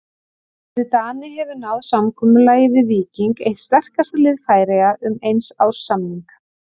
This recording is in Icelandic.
Þessi Dani hefur náð samkomulagi við Víking, eitt sterkasta lið Færeyja, um eins árs samning.